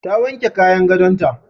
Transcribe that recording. Ta wanke kayan gadonta.